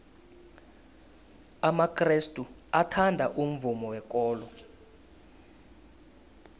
amakrestu athanda umvumo wekolo